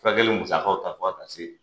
Furakɛli musakaw ta fo a ka se